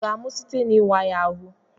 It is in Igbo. Ọ ga-amụ site n'ịwa ya ahụ?